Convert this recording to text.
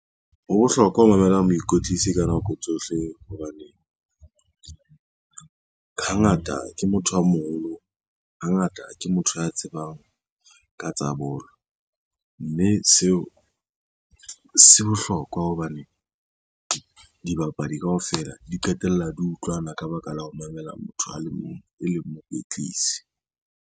Ho bohlokwa ho mamelang moikwetlisi ka nako tsohle hobane hangata ke motho a moholo, hangata ke motho ya tsebang ka tsa bolo, mme seo se bohlokwa hobane dibapadi kaofela di qetella di utlwana ka baka la ho mamela motho a le mong e leng mokwetlisi.